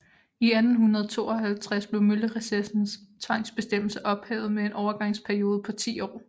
I 1852 blev møllerecessens tvangsbestemmelser ophævet med en overgangsperiode på 10 år